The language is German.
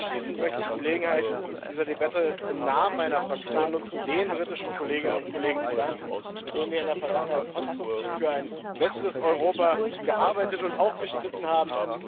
Abschließend möchte ich die Gelegenheit dieser Debatte im Namen meiner Fraktion nutzen, den britischen Kolleginnen und Kollegen zu danken, mit denen wir in der Vergangenheit konstruktiv für ein besseres Europa gearbeitet und auch gestritten haben.